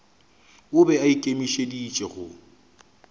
o be a ikemišeditše go